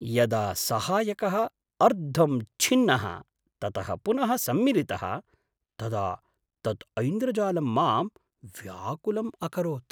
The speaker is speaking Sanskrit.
यदा सहायकः अर्धं छिन्नः ततः पुनः सम्मिलितः तदा तत् ऐन्द्रजालं मां व्याकुलम् अकरोत्।